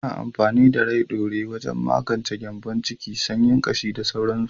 Ana amfani da Rai ɗaure wajen magance gyanbon ciki, sanyin ƙashi da sauransu.